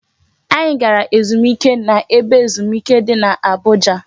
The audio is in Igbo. Anyị gara ezumike na ebe ezumike di n'Abuja